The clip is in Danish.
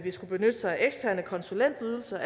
skulle benytte sig af eksterne konsulentydelser